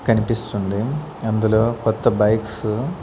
కనిపిస్తుంది అందులో కొత్త బైక్స్ .